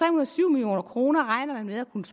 og syv million kroner regner man med at kunne